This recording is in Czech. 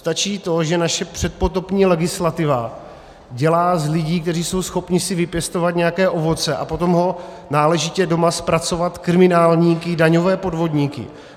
Stačí to, že naše předpotopní legislativa dělá z lidí, kteří jsou schopni si vypěstovat nějaké ovoce a potom ho náležitě doma zpracovat, kriminálníky, daňové podvodníky.